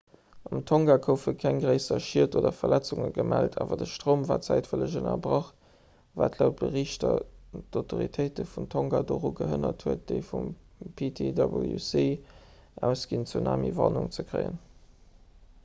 an tonga goufe keng gréisser schied oder verletzunge gemellt awer de stroum war zäitweileg ënnerbrach wat laut berichter d'autoritéite vun tonga doru gehënnert huet déi vum ptwc ausginn tsunamiwarnung ze kréien